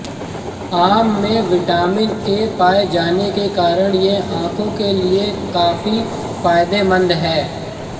आम में vitamin A पाए जाने के कारण ये आंखो के लिए कापी फायदेमंद है